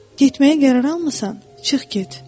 Getməyə qərar almısan, çıx get."